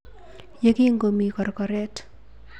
Ye kingomi korkoret.